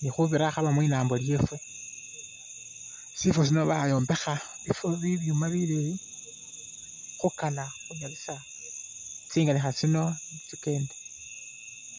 ,nikhubira akhaba mwinambo lyefwe ,sifo sino bayombekha bifo bibyuuma bileyi khukana khunyalisa tsinganikha tsino tsikende